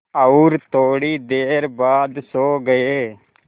और थोड़ी देर बाद सो गए